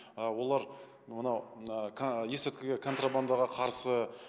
олар мынау ыыы есірткіге контрабандаға қарсы